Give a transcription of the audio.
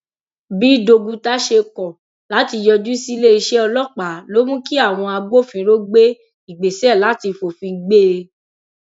bí doguta ṣe kọ láti yọjú sílé iṣẹ ọlọpàá ló mú kí àwọn agbófinró gbé ìgbésẹ láti fòfin gbé e